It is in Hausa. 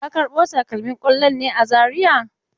Ka karbo takalmin kwallon ne a Zariya?